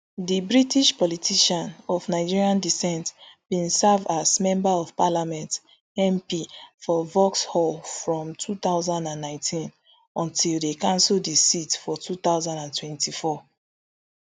di british politician of nigerian decent bin serve as member of parliament mp for vauxhall from two thousand and nineteen until dem cancel di seat for two thousand and twenty-four